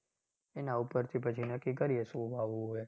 એના ઉપરથી પછી નક્કી કરીએ શું વાવવું એ.